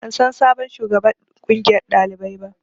Ban san sabon shugaban ƙungiyar ɗalibai ba